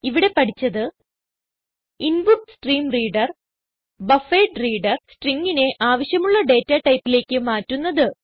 ഇവിടെ പഠിച്ചത് input stream reader buffered reader Stringനെ ആവശ്യമുള്ള ഡേറ്റ ടൈപ്പിലേക്ക് മാറ്റുന്നത്